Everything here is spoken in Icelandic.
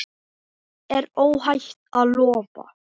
Því er óhætt að lofa.